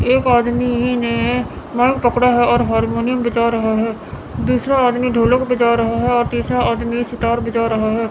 एक आदमी ने माइक पकड़ा है और हारमोनियम बजा रहा है दूसरा आदमी ढोलक बजा रहा है और तीसरा आदमी सितार बजा रहा है।